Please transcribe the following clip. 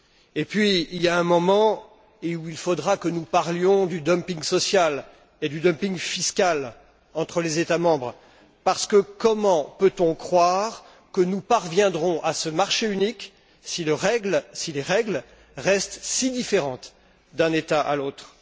Et puis, il y a un moment où il faudra que nous parlions du dumping social et du dumping fiscal entre les États membres, parce que, comment peut on croire que nous parviendrons à ce marché unique, si les règles restent si différentes d'un État à l'autre?